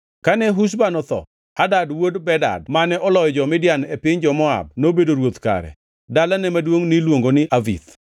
Kane Husham otho, Hadad wuod Bedad mane oloyo jo-Midian e piny jo-Moab nobedo ruoth kare. Dalane maduongʼ niluongo ni Avith.